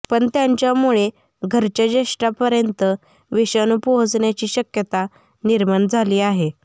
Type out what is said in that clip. पण त्यांच्यामुळे घरच्या ज्येष्ठांपर्यंत विषाणू पोहचण्याची शक्यता निर्माण झाली आहे